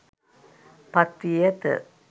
පත් වී ඇත